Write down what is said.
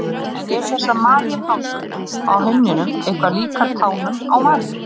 En eru þessar Maríutásur á himninum eitthvað líkar tánum á Maríu?